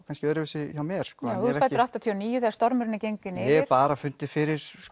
kannski öðruvísi hjá mér sko já þú ert fæddur áttatíu og níu þegar stormurinn er genginn yfir hef bara fundið fyrir